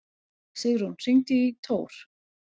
Sigrún, hringdu í Tór.